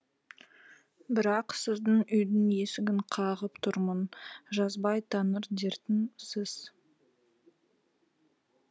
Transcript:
бірақ сіздің үйдің есігін қағып тұрмын жазбай таныр дертім сіз